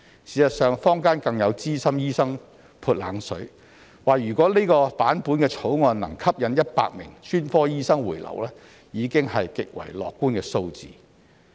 事實上，坊間更有資深醫生"潑冷水"，指如果這版本的草案能吸引10名專科醫生回流，已是極為樂觀的數字。